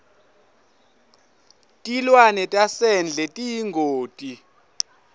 tilwane tasendle tiyingoti